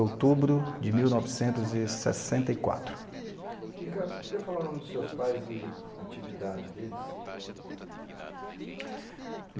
de mil novecentos e sessenta e quatro. E Ricardo, você poderia falar o nome dos seus pais e a atividade deles?